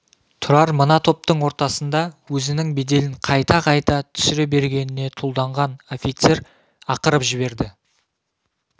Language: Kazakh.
тұрар мына топтың ортасында өзінің беделін қайта-қайта түсіре бергеніне тұлданған офицер ақырып жіберді